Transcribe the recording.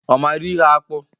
Ọ mara ihe akpụ?